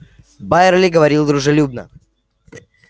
байерли говорил дружелюбно